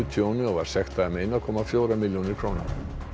tjóni og var sektað um ein komma fjórar milljónir króna